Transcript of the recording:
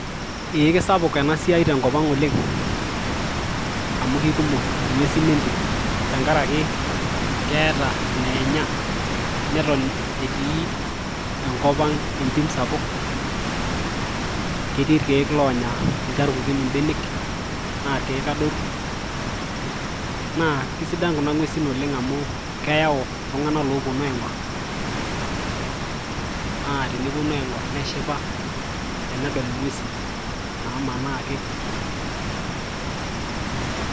ee kisapuk ena siai tenkop ang oleng, amu kekumok ing'uesin entim, tenkaraki keeta ineenya, neton etii enkop ang' entim sa, puk, ketii irkeek loonya ilcharkukin ibenek, naa irkeek adoruk, naaa kisidan kuna ng'uesin amu keyau iltung'anak oopuonu aing'or, naa tenepuonu aing; or neshipa, tenedol ing'uesin namanaa ake.